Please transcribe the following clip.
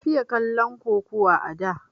Na fiye kallon kukuwa a da